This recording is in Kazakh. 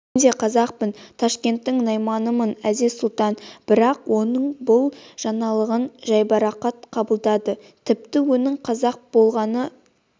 мен де қазақпын ташкенттің найманымын әзиз-сұлтан бірақ оның бұл жаңалығын жайбарақат қабылдады тіпті оның қазақ болғаны